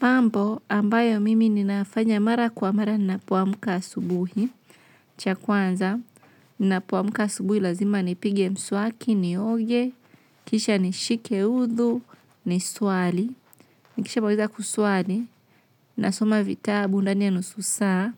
Mambo ambayo mimi ninafanya mara kwa mara ninapoamka asubuhi. Cha kwanza ninapomka asubuhi lazima nipige mswaki, nioge, kisha nishike udhu, ni swali. Nikisha maliza kuswali, nasoma vitabu ndani ya nusu saa,